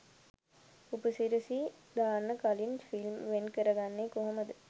උපසිරසි දාන්න කලින් ෆිල්ම් වෙන් කරගන්නේ කොහොමද?